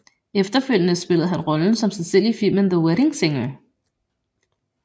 Efterfølgende spillede han rollen som sig selv i filmen The Wedding Singer